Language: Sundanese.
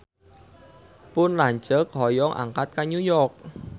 Pun lanceuk hoyong angkat ka New York